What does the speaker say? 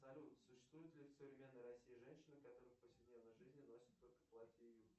салют существуют ли в современной россии женщины которые в повседневной жизни носят только платья и юбки